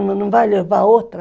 Aí não vai levar outra.